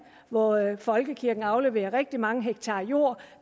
hvor folkekirken afleverede rigtig mange hektar jord